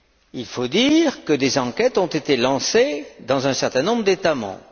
Il faut dire que des enquêtes ont été lancées dans un certain nombre d'États membres.